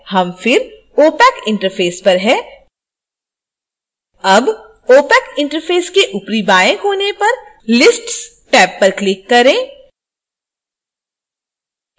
हम फिर opac interface पर हैं अब opac इंटरफेस के ऊपरी बाएं कोने पर lists टैब पर क्लिक करें